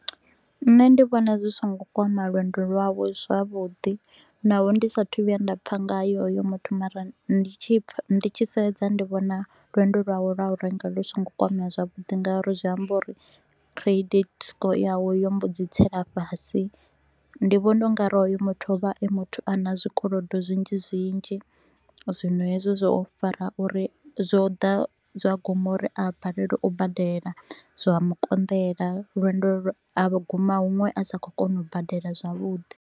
Nṋe ndi vhona zwi so ngo kwama lwendo lwawe zwavhuḓi naho ndi sa a thu u vhuya nda pfa nga ye hoyo muthu mara ndi tshi pfa ndi tshi sedza ndi vhona lwendo lwo lwa u renga lu so ngo kwamea zwavhuḓi nga uri zwi amba uri credit score yawe yo mbo dzi tsela fhasi. Ndi vhona u nga ri hoyo muthu o vha e muthu a na zwikolodo zwinzhi zwinzhi, zwino hezwo zwo fara uri zwo ḓa zwa guma uri a balelwe u badela. Zwa mu konḓela lwendo a vho guma huṅwe a sa kho u kona u badela zwavhuḓi